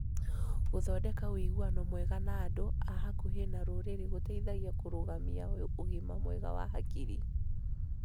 Gũthondeka ũiguano mwega na andũ a hakuhĩ na rũrĩrĩ gũteithagia kũrũgamia ũgima mwega wa hakiri.